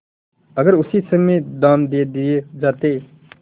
अगर उसी समय दाम दे दिये जाते